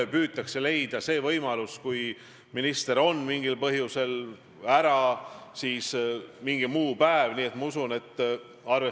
Oma poliitiliste oponentide peale näitate näpuga, et nende suhtes ei algatata midagi, aga järgmises esinemises ütlete, et näed, teie omasid kogu aeg nokitakse.